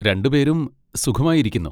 രണ്ടുപേരും സുഖമായി ഇരിക്കുന്നു.